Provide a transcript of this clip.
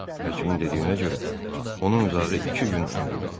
Həkimin dediyinə görə, onun uzağı iki gün ömrü qalıb.